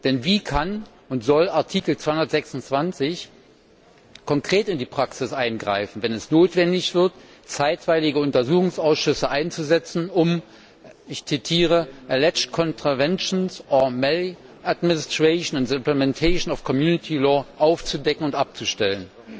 Denn wie kann und soll Artikel 226 konkret in die Praxis eingreifen, wenn es notwendig wird, zeitweilige Untersuchungsausschüsse einzusetzen, um, ich zitiere alleged contraventions or maladministration in the implementation of Union law' aufzudecken und abzustellen?